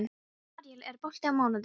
Aríel, er bolti á mánudaginn?